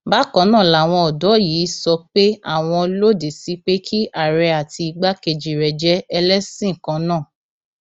bákan náà làwọn ọdọ yìí sọ pé àwọn lòdì sí pé kí àárẹ àti igbákejì rẹ jẹ ẹlẹsìn kan náà